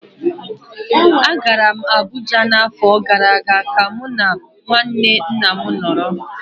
Agara m Abuja n'afọ gara aga ka mụ na nwanne nna m nọrọ